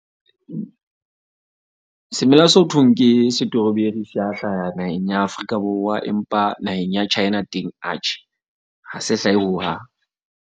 Semela se ho thweng ke strawberry se a hlaha naheng ya Afrika Borwa, empa naheng ya China teng, atjhe ha se hlahe hohang.